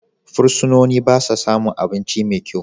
Fursunoni ba sa samun abinci mai kyau.